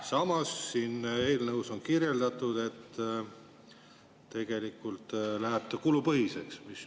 Samas, siin eelnõus on kirjeldatud, et tegelikult läheb see kulupõhiseks.